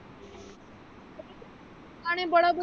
ਗਾਣੇ ਬੜੇ ਵਧੀਆ।